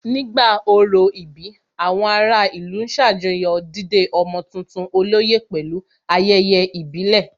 Nígbà orò ìbí, àwọn ará ìlú ṣàjọyọ̀ dídé ọmọ tuntun olóyè pẹ̀lú ayẹyẹ ìbílẹ̀